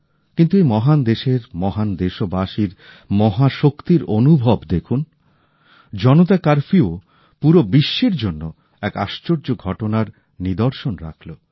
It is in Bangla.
কিন্তু এই মহান দেশের মহান দেশবাসীর মহাশক্তির অনুভব দেখুন জনতা কারফিউ পুরো বিশ্বের জন্য এক আশ্চর্য ঘটনার নিদর্শন রাখল